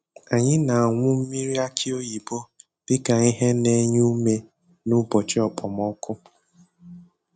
Anyị na-aṅụ mmiri aki oyibo dị ka ihe na-enye ume n'ụbọchị okpomọkụ.